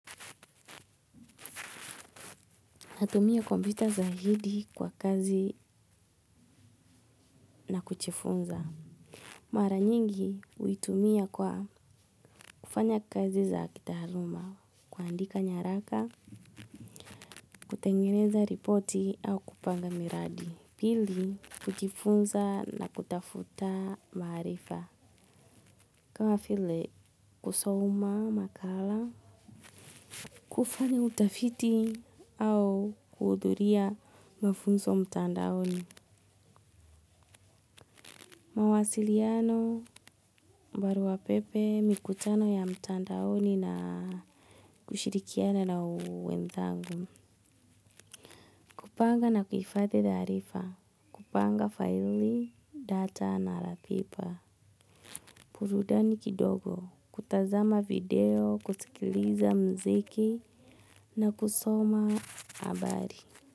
Natumia kompyuta zaidi kwa kazi na kuchifunza. Mara nyingi huitumia kwa kufanya kazi za kitaaluma, kuandika nyaraka, kutengeneza ripoti au kupanga miradi. Pili kuchifunza na kutafuta maarifa. Kama file kusoma makala, kufanya utafiti au kuhudhuria mafunso mtandaoni. Mawasiliano, baruapepe, mikutano ya mtandaoni na kushirikiana na wenzangu. Kupanga na kuifathi darifa, kupanga file, data na ratipa. Purudani kidogo, kutazama video, kusikiliza mziki na kusoma abari.